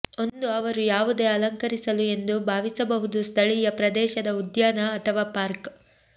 ಒಂದು ಅವರು ಯಾವುದೇ ಅಲಂಕರಿಸಲು ಎಂದು ಭಾವಿಸಬಹುದು ಸ್ಥಳೀಯ ಪ್ರದೇಶದ ಉದ್ಯಾನ ಅಥವಾ ಪಾರ್ಕ್